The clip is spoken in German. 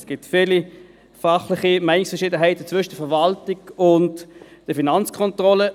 Es gibt viele fachliche Meinungsverschiedenheiten zwischen der Verwaltung und der Finanzkontrolle.